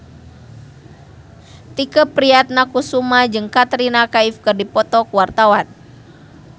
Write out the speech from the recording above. Tike Priatnakusuma jeung Katrina Kaif keur dipoto ku wartawan